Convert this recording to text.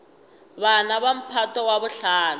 bana ba mphato wa bohlano